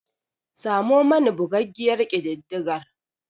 Samo mani bugaggiyar kididdigar.